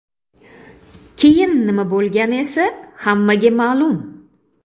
Keyin nima bo‘lgani esa hammaga ma’lum.